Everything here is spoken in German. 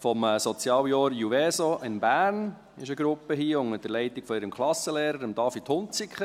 Vom Sozialjahr JUVESO in Bern ist eine Gruppe hier unter der Leitung ihres Klassenlehrers, David Hunziker.